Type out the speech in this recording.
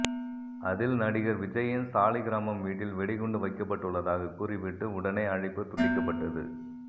அதில் நடிகர் விஜய்யின் சாலிகிராமம் வீட்டில் வெடிகுண்டு வைக்கப்பட்டுள்ளதாக கூறிவிட்டு உடனே அழைப்பு துண்டிக்கப்பட்டது